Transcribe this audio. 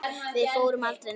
Við fórum aldrei neitt.